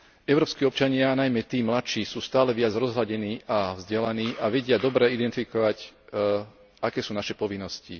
Európski občania, najmä tí mladší, sú stále viac rozhľadení a vzdelaní a vedia dobre identifikovať, aké sú naše povinnosti.